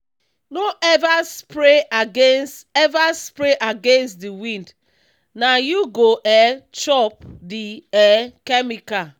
no ever spray against ever spray against the wind—na you go um chop the um chemical.